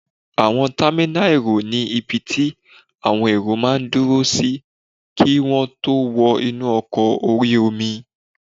Àwọn támínà èrò ní ibi tí àwọn èrò máa n dúró sí kí wọ́n tó wọ inú ọkọ̀ orí-omi